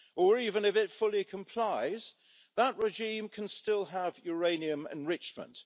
Or was it that, even if it fully complies, that regime can still have uranium enrichment?